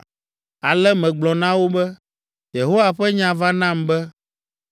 Ale megblɔ na wo be, “Yehowa ƒe nya va nam be,